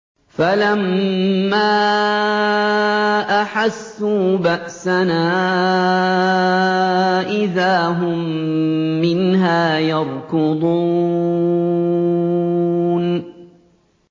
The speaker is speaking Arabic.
فَلَمَّا أَحَسُّوا بَأْسَنَا إِذَا هُم مِّنْهَا يَرْكُضُونَ